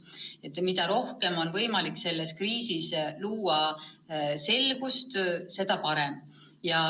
Nii et mida rohkem on võimalik selles kriisis selgust luua, seda parem.